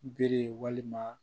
Bere ye walima